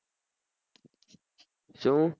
શું